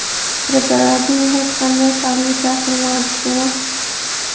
Preparatning hech qanday salbiy ta’siri mavjud emas.